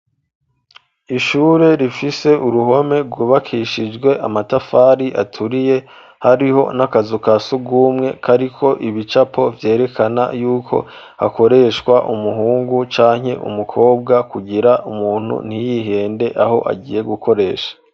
ishure rifise uruhome gwubakishijwe amatafari aturiye, hariho n'akazu ka sugumwe kariko ibicapo vyerekana y'uko hakoreshwa umuhungu canke umukobwa kugira umuntu ntiyihende aho agiye gukoresha.